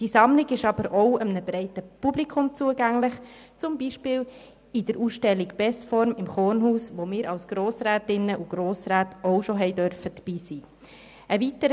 Die Sammlung ist jedoch auch einem breiten Publikum zugänglich, zum Beispiel in Form der Ausstellung «Bestform» im Kornhaus, wo wir als Grossrätinnen und Grossräte auch schon dabei sein durften.